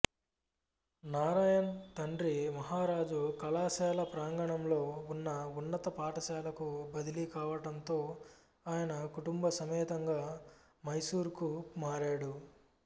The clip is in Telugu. నారాయణ్ తండ్రి మహారాజ కళాశాల ప్రాంగణంలో ఉన్న ఉన్నత పాఠశాలకు బదిలీ కావటంతో ఆయన కుటుంబసమేతంగా మైసూరుకు మారాడు